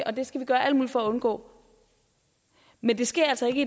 og det skal vi gøre alt muligt for at undgå men det sker altså ikke